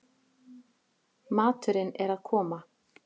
Maturinn er að koma